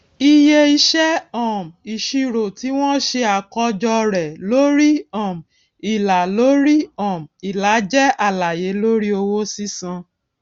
iye iṣẹ um ìṣirò tí wọn ṣe àkọjọ rẹ lórí um ìlà lórí um ìlà jẹ àlàyé lórí owó sísan